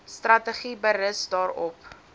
strategie berus daarop